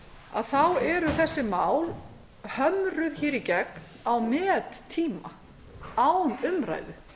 breytingartillögur og svo framvegis þá eru þessi mál hömruð í gegn á mettíma án umræðu